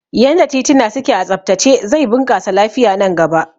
Yanda tituna suke a tsabtace zai bunƙasa lafiya nan gaba